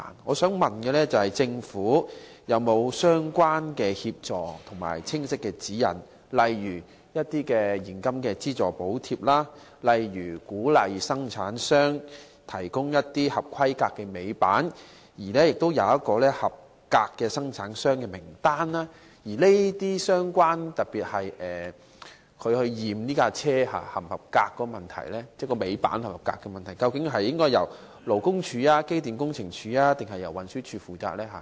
我想問政府有否提供相關協助和清晰指引，例如現金資助、鼓勵生產商提供合規格的尾板或提供合格的生產商名單？檢驗貨車尾板是否合格的問題，究竟應該由勞工處、機電工程署，還是運輸署負責呢？